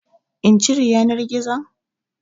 In cire yanar gizon?